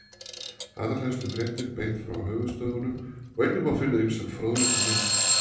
Allar helstu fréttir beint frá höfuðstöðvunum og einnig má finna ýmsan fróðleik og myndir.